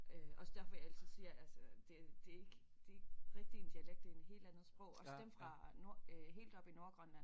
Også derfor jeg altid siger altså det det ikke det ikke rigtig en dialekt det en helt andet sprog også dem fra nord øh helt oppe i Nordgrønland